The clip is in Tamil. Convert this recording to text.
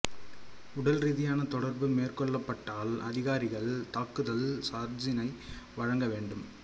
உடல் ரீதியான தொடர்பு மேற்கொள்ளப்பட்டால் அதிகாரிகள் தாக்குதல் சார்ஜினை வழங்க வேண்டும்